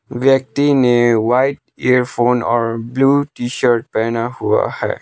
व्यक्ति ने white earphone और ब्लू टी-शर्ट पहना हुआ है।